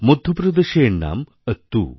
মধ্যপ্রদেশে এর নাম অত্তু